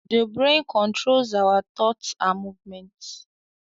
The brain controls our thoughts and movements